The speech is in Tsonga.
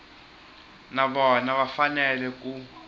na vona va fanele ku